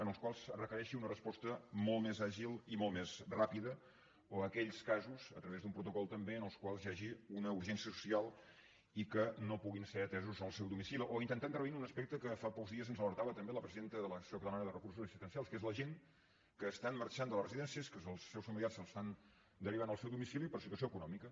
en els quals es requereixi una resposta molt més àgil i molt més ràpida o aquells casos a través d’un protocol també en els quals hi hagi una urgència social i que no puguin ser atesos en el seu domicili o intentar intervenir en un aspecte que fa pocs dies ens n’alertava també la presidenta de l’associació catalana de recursos assistencials que és la gent que estan marxant de les residències que els seus familiars els estan derivant al seu domicili per situació econòmica